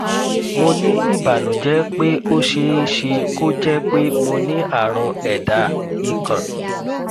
mo ní ìbànújẹ pé ó ṣeé ṣe kó jẹ pé mo ní àrùn ẹdá ìkóǹ